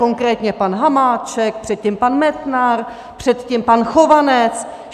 Konkrétně pan Hamáček, předtím pan Metnar, předtím pan Chovanec.